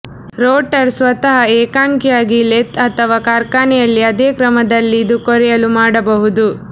rotor ಸ್ವತಃ ಏಕಾಂಗಿಯಾಗಿ lathe ಅಥವಾ ಕಾರ್ಖಾನೆಯಲ್ಲಿ ಅದೇ ಕ್ರಮದಲ್ಲಿ ಇದು ಕೊರೆಯಲು ಮಾಡಬಹುದು